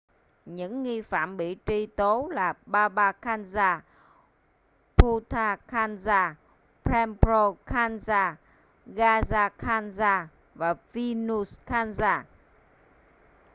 những nghi phạm bị truy tố là baba kanjar bhutha kanjar rampro kanjar gaza kanjar và vishnu kanjar